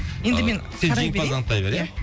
енді мен қарай берейін сен жеңімпазды анықтай бер ия